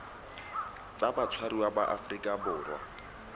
tsa batshwariwa ba aforika borwa